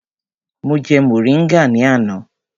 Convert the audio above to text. Mo jẹ mọ̀ríngà ní àná.